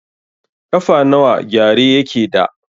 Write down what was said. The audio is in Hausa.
Ƙafa nawa gyare yake da?